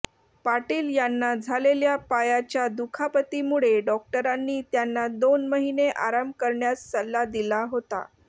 पाटील यांना झालेल्या पायाच्या दुखापतीमुळे डॉक्टरांनी त्यांना दोन महिने आराम करण्यास सल्ला दिला होता